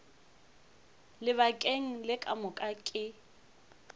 lebakeng le ka moka ke